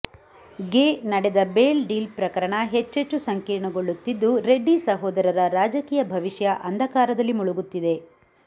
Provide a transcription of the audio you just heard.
ಗೆ ನಡೆದ bail deal ಪ್ರಕರಣ ಹೆಚ್ಚೆಚ್ಚು ಸಂಕೀರ್ಣಗೊಳ್ಳುತ್ತಿದ್ದು ರೆಡ್ಡಿ ಸಹೋದರರ ರಾಜಕೀಯ ಭವಿಷ್ಯ ಅಂಧಕಾರದಲ್ಲಿ ಮುಳುಗುತ್ತಿದೆ